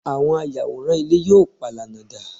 àwọn ayàwòrán ilé yíò palana da